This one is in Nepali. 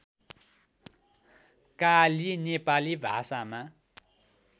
काली नेपाली भाषामा